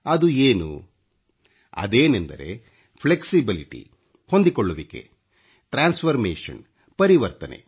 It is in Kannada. ಅದು ಏನು ಅದೇನೆಂದರೆ ಈಟexibiಟiಣಥಿ ಹೊಂದಿಕೊಳ್ಳ್ಳುವಿಕೆ ಖಿಡಿಚಿಟಿsಜಿoಡಿmಚಿಣioಟಿ ಪರಿವರ್ತನೆ